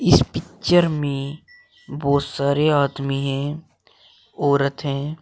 इस पिक्चर में बहुत सारे आदमी हैं औरत हैं।